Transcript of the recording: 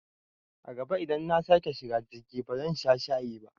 A gaba idan nasake shiga jirgi ba zan sha shayi ba